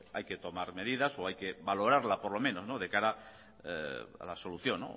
hay que tomar medidas o hay que valorarla por lo menos de cara a la solución